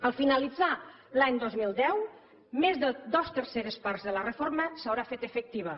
al finalitzar l’any dos mil deu més de dos terceres parts de la reforma s’hauran fet efectives